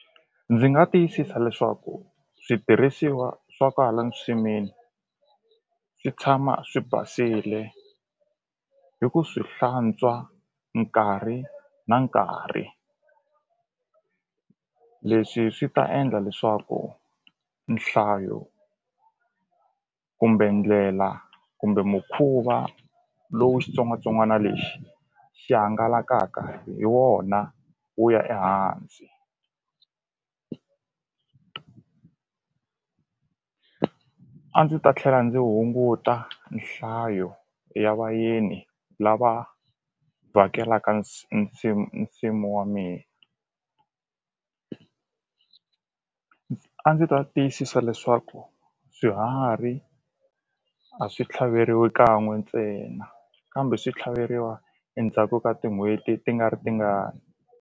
Ndzi nga tiyisisa leswaku switirhisiwa swa kwalani nsimini swi tshama swi basile hi ku swi hlantswa nkarhi na nkarhi leswi swi ta endla leswaku nhlayo kumbe ndlela kumbe mukhuva lowu xitsongwatsongwana lexi xi hangalakaka hi wona wu ya ehansi a ndzi ta tlhela ndzi hunguta nhlayo ya vayeni lava vhakelaka nsimu nsimu wa mina a ndzi ta tiyisisa leswaku swiharhi a swi tlhaveriwi kan'we ntsena kambe swi tlhaveriwa endzhaku ka tin'hweti ti nga ri tingani.